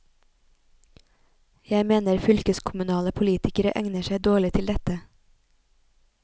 Jeg mener fylkeskommunale politikere egner seg dårlig til dette.